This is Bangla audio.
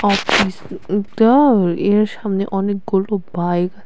এটা এর সামনে অনেকগুলো বাইক আছে।